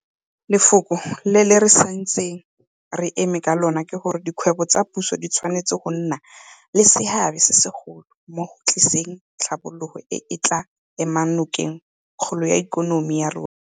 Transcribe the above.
Lefoko le re santseng re eme ka lona ke gore dikgwebo tsa puso di tshwanetse go nna le seabe se segolo mo go tliseng tlhabologo e e tla emang nokeng kgolo ya ikonomi ya rona.